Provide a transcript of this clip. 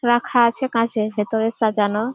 রাখা আছে কাঁচের ভেতরে সাজানো।